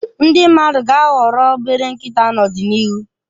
Ndi mmadụ ga-ahọrọ obere nkịta n'ọdịnihu.